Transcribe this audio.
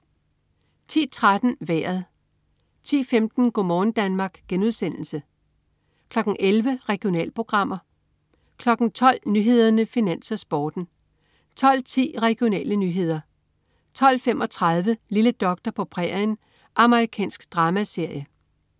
10.13 Vejret (man-fre) 10.15 Go' morgen Danmark* (man-fre) 11.00 Regionalprogrammer (man-fre) 12.00 Nyhederne, Finans, Sporten (man-fre) 12.10 Regionale nyheder (man-fre) 12.35 Lille doktor på prærien. Amerikansk dramaserie (man-fre)